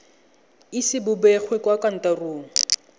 ise bo begwe kwa kantorong